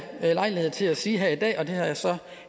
lejlighed til at sige her i dag og det har jeg så